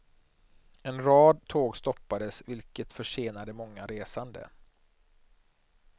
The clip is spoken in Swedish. En rad tåg stoppades, vilket försenade många resande.